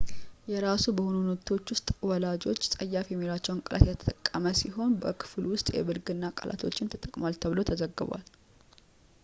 የራሱ በሆኑት ኖቶች ውስጥ ወላጆች ፀያፍ የሚሏቸውን ቃላት የተጠቀመ ሲሆን በክፍል ውስጥ የብልግና ቃላቶችንም ተጠቅሟል ተብሎ ተዘግቧል